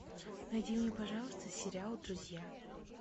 найди мне пожалуйста сериал друзья